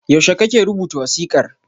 Yaushe kake rubuta wasiƙar?